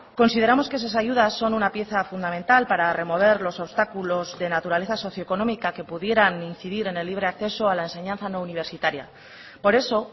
consideramos que esas ayudas son una pieza fundamental para remover los obstáculos de naturaleza socioeconómica que pudieran incidir en el libre acceso a la enseñanza no universitaria por eso